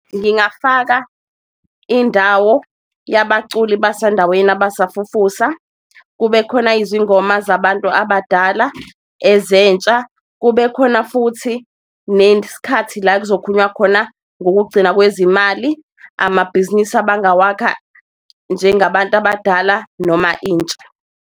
Ngingafaka indawo yabaculi basendaweni abasafufusa, kube khona izingoma zabantu abadala, ezentsha, kube khona futhi nesikhathi la ekuzokhulunywa khona ngokugcina kwezimali. Amabhizinisi abangawakha njengabantu abadala noma intsha.